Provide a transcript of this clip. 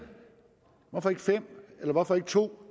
hvorfor ikke fem eller hvorfor ikke to